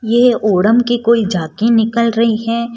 ये ओणम की कोई झाकी निकल रही है।